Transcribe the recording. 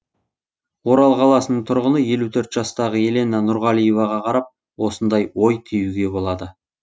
орал қаласының тұрғыны елу төрт жастағы елена нұрғалиеваға қарап осындай ой түюге болады